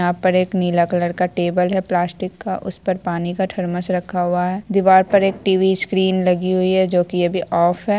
यहाँ पर एक नीला कलर का टेबल है प्लास्टिक का उस पर पानी का थर्मस रखा हुआ है दिवार पर एक टी.वी. स्क्रीन लगी हुई है जो की अभी ऑफ है।